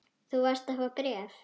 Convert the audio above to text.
Þú varst að fá bréf.